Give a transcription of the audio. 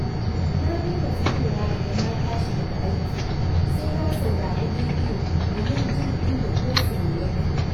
Na dai na fitowa daga na tashi daga aiki, sai na saurari rediyo domin jin inda gosulo yake